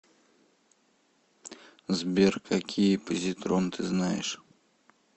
сбер какие позитрон ты знаешь